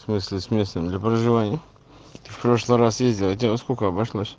в смысле с местом для проживания в прошлый раз ездил и тебе во сколько обошлось